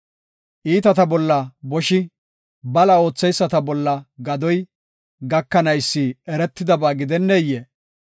Iitata bolla boshi, bala ootheyisata bolla gadoy gakanaysi eretidaba gidenneyee?